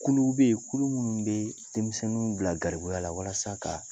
Kuluw bɛ yen kulu minnu bɛ denmisɛnninw bila garibuya la walasa ka